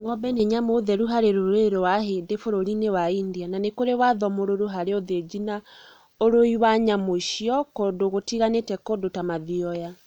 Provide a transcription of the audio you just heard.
Ngombe nĩ nyamũ theru harĩ rũrĩrĩ rwa ahĩndĩ bururi-inĩ wa India na nĩ kũrĩ watho mũrũrũ harĩ ũthĩnji na ũrĩĩ wa nyamũ icio kũndũ gũtiganĩte kũndũ ta mathioya